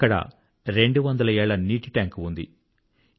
అక్కడ 200 ఏళ్ళ నీటి టాంక్ వాటర్ స్టోరేజ్ ట్యాంక్ ఉంది